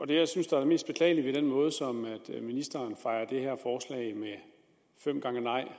det jeg synes er det mest beklagelige ved den måde som ministeren med fem gange nej